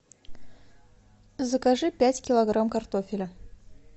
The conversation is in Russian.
закажи пять килограмм картофеля